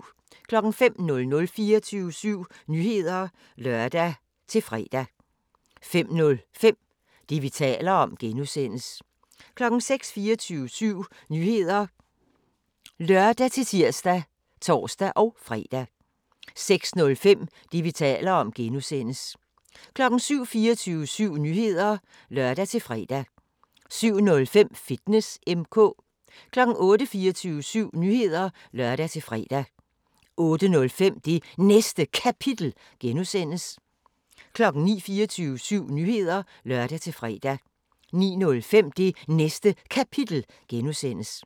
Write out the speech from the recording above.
05:00: 24syv Nyheder (lør-fre) 05:05: Det, vi taler om (G) 06:00: 24syv Nyheder (lør-tir og tor-fre) 06:05: Det, vi taler om (G) 07:00: 24syv Nyheder (lør-fre) 07:05: Fitness M/K 08:00: 24syv Nyheder (lør-fre) 08:05: Det Næste Kapitel (G) 09:00: 24syv Nyheder (lør-fre) 09:05: Det Næste Kapitel (G)